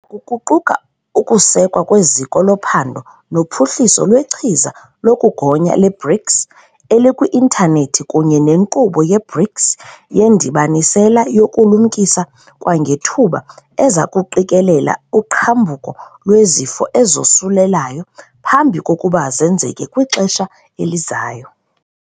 Oku kuquka ukusekwa kweZiko loPhando noPhuhliso lweChiza lokuGonya le-BRICS elikwi-intanethi kunye neNkqubo ye-BRICS yeNdibanisela yokuLumkisa kwangeThuba eza kuqikelela uqhambuko lwezifo ezosulelayo phambi kokuba zenzeke kwixesha elizayo.